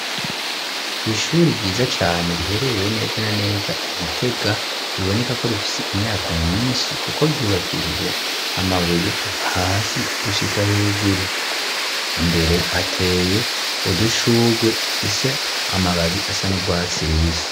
Kw'ishuri ryiza cane riherereye neza na neza Igitega, riboneka ko rifise imyaka nyinshi kuko ryubakishije amabuye kuva hasi gushika hejuru, imbere ateye udushugwe dufise amababi asa n'urwatsi rubisi.